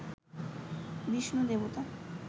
বিষ্ণু দেবতা